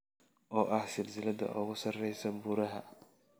oo ah silsiladda ugu sarreysa buuraha